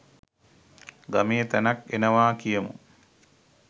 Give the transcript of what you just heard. ගමේ තැනක් එනවා කියමු